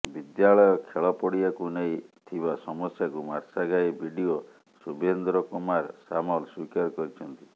ବିଦ୍ୟାଳୟ ଖେଳ ପଡିଆକୁ ନେଇ ଥିବା ସମସ୍ୟାକୁ ମାର୍ଶାଘାଇ ବିଡିଓ ଶୁଭେନ୍ଦ୍ର କୁମାର ସାମଲ ସ୍ୱୀକାର କରିଛନ୍ତି